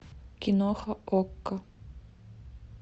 киноха окко